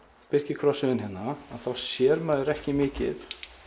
birkikrossviðinn hérna þá sér maður ekki mikið